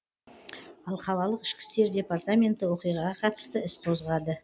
ал қалалық ішкі істер департаменті оқиғаға қатысты іс қозғады